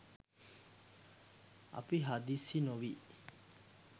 අපි හදිස්සි නොවී